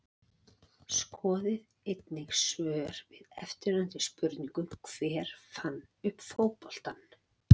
Skoðið einnig svör við eftirfarandi spurningum Hver fann upp fótboltann?